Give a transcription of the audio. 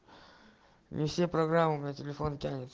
не все программы на телефон тянет